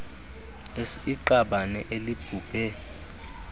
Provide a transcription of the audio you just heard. s iqabane elibhubhe